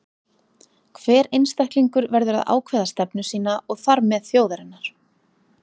Hver einstaklingur verður að ákveða stefnu sína, og þar með þjóðarinnar.